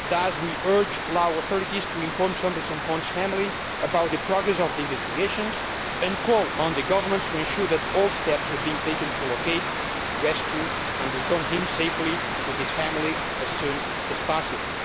Thus we urge the Lao authorities to inform Sombath Somphone's family about the progress of the investigations and call on the government to ensure that all steps are being taken to locate, rescue and return him safely to his family as soon as possible.